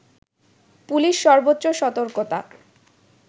police সর্ব্বোচ্চ সতর্কতা